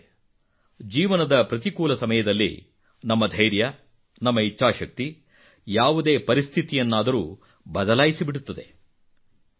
ಸ್ನೇಹಿತರೇ ಜೀವನದ ಪ್ರತಿಕೂಲ ಸಮಯದಲ್ಲಿ ನಮ್ಮ ಧೈರ್ಯ ನಮ್ಮ ಇಚ್ಛಾಶಕ್ತಿ ಯಾವುದೇ ಪರಿಸ್ಥಿತಿಯನ್ನಾದರೂ ಬದಲಾಯಿಸಿಬಿಡುತ್ತದೆ